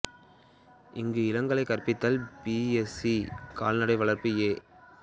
இங்கு இளங்கலை கற்பித்தல் பி வி எஸ் சி கால்நடை வளர்ப்பு ஏ